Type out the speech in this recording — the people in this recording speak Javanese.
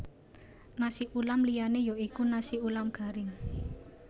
Nasi ulam liyané ya iku nasi ulam garing